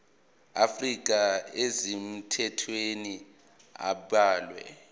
afrika ezisemthethweni abalwe